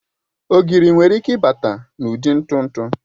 Ogiri nwere ike ịbata n'ụdị ntụ ntụ